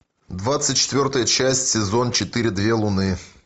двадцать четвертая часть сезон четыре две луны